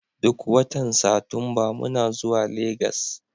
Duk watan Satumba muna zuwa Legas.